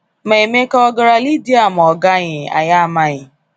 Ma Emeka ọ gara Ledra ma ọ gaghị, anyị amaghị.